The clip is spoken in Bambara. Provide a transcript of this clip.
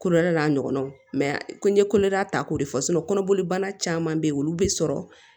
Kolodɛ n'a ɲɔgɔnnaw mɛ ko n ye kolodɛ ta k'o de fɔ kɔnɔboli banna caman beyi olu bɛ sɔrɔ